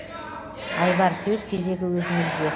айбар сөз кезегі өзіңізде